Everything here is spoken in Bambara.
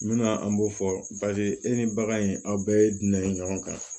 N bɛna an b'o fɔ paseke e ni bagan in aw bɛɛ ye dunan ye ɲɔgɔn kan